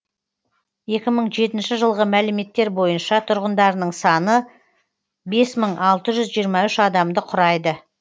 екі мың жетінші жылғы мәліметтер бойынша тұрғындарының саны бес мың алты жүз жиырма үш адамды құрайды